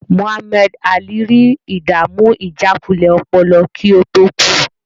Muhammad Alli rí ìdàmú ìjákulẹ̀ ọpọlọ kí ó tó kú.